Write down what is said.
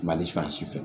Mali fɛ